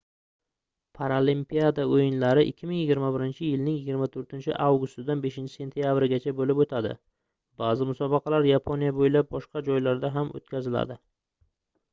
paralimpiada oʻyinlari 2021-yilning 24-avgustidan 5-sentabrigacha boʻlib oʻtadi baʼzi musobaqalar yaponiya boʻylab boshqa joylarda ham oʻtkaziladi